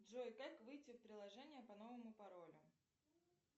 джой как выйти в приложение по новому паролю